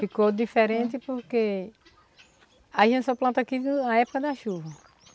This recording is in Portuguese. Ficou diferente porque a gente só planta aqui na época da chuva.